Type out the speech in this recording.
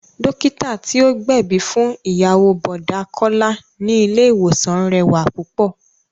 Dókítà tí ó gbẹ̀bí fún ìyàwó Bọ̀dá Kọ́lá ni ilé ìwòsàn rẹwà púpọ̀